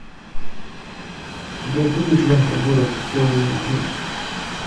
у тебя будет лента город хэллоуин три